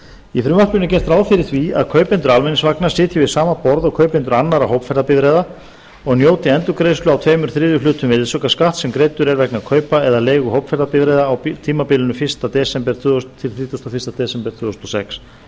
í frumvarpinu er gert ráð fyrir því að kaupendur almenningsvagna sitji við sama borð og kaupendur annarra hópferðabifreiða og njóti endurgreiðslu á tveimur þriðju hlutum virðisaukaskatts sem greiddur er vegna kaupa eða leigu hópferðabifreiða á tímabilinu fyrsta desember tvö þúsund til þrítugasta og fyrsta desember tvö þúsund og sex